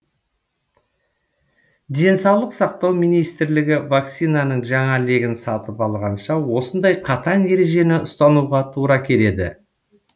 денсаулық сақтау министрлігі вакцинаның жаңа легін сатып алғанша осындай қатаң ережені ұстануға тура келеді